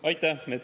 Aitäh!